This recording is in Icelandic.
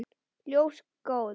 Ljós góðs.